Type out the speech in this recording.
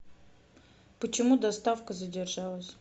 почему доставка задержалась